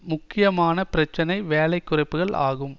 முக்கியமான பிரச்சினை வேலை குறைப்புக்கள் ஆகும்